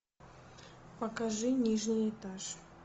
покажи нижний этаж